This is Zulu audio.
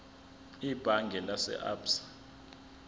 ebhange lase absa